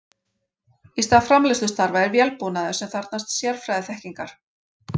Í stað framleiðslustarfa er vélbúnaður sem þarfnast sérfræðiþekkingar.